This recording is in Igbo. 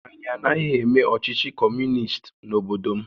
Anyị anaghị eme ọchịchị Kọmunist n'obodo m